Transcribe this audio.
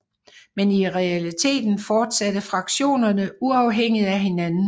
Men i realiteten fortsatte fraktionerne uafhængigt af hinanden